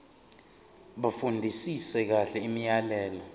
bafundisise kahle imiyalelo